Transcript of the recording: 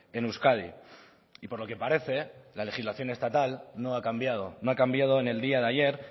en euskadi y por lo que parece la legislación estatal no ha cambiado no ha cambiado en el día de ayer